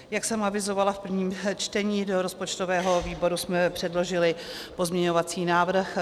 Jak jsem avizovala v prvním čtení, do rozpočtového výboru jsme předložili pozměňovací návrh.